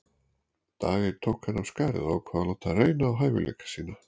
Dag einn tók hann af skarið og ákvað að láta reyna á hæfileika sína.